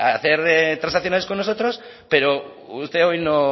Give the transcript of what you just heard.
hacer transaccionales con nosotros pero usted hoy no